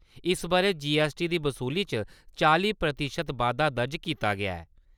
इस ब'रै G S T दी वसूली च चालीं प्रतिशत बाद्दा दर्ज कीता गेआ ऐ ।